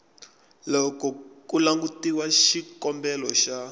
loko ku langutiwa xikombelo xa